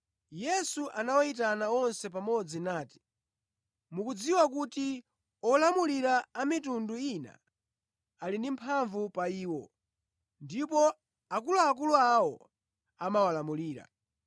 Yesu anawayitana onse pamodzi nati, “Mukudziwa kuti olamulira a mitundu ina ali ndi mphamvu pa iwo, ndipo akuluakulu awo amawalamulira.